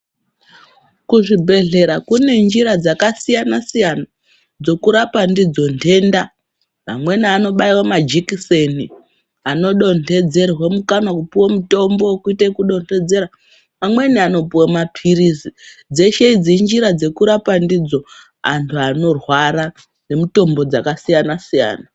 Kuzvibhedhlera kunenjira dzakasiyana-siyana dzokurapa ndidzo ndenda. Amweni anobaiwa majekiseni, anodonhedzerwe mukanwa kupuwe mutombo wekuite wekudondedzera. Amweni anopuwa maphilizi. Dzeshe idzi injira dzekurapa ndidzo antu anorwara ngemitombo dzakasiyana-siyana.